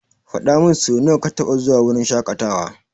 Faɗamin sonawa ka taba zuwa wurin shaƙatawa.